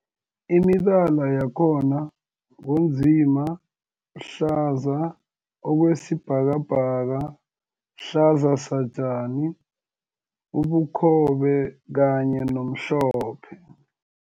Imibala yakhona ngu nzima, hlaza okwesibhakabhaka, hlaza satjani, ubukhobe kanye nomhlophe.